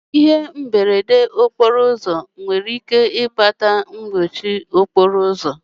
Ihe mberede okporo ụzọ nwere ike ịkpata mkpọchi okporo ụzọ.